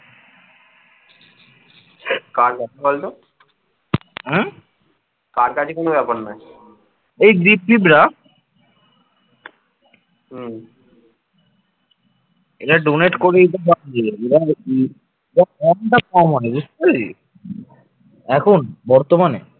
এখন বর্তমানে